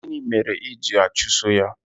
gịnị mere I ji achuso ya?